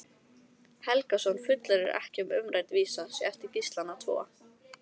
Helgason fullyrðir ekki að umrædd vísa sé eftir Gíslana tvo.